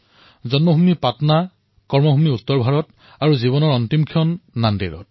জন্ম পাটনাত কৰ্মভূমি উত্তৰ ভাৰতত আৰু জীৱনৰ অন্তিম ক্ষণ নাণ্ডেড়ত